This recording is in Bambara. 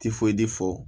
fɔ